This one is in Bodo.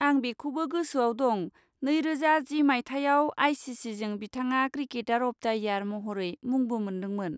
आं बेखौबो गोसोआव दं नैरोजा जि मायथाइयाव आइ सि सिजों बिथाङा 'क्रिकेटार अफ दा इयार' महरै मुंबो मोन्दोंमोन।